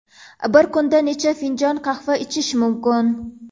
Bir kunda necha finjon qahva ichish mumkin?